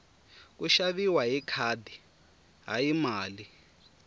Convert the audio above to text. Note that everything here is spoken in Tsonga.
ku xaviwa hi khadi hayi mali